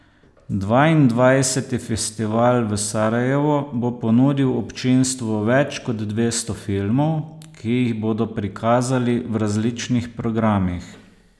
Dvaindvajseti festival v Sarajevu bo ponudil občinstvu več kot dvesto filmov, ki jih bodo prikazali v različnih programih.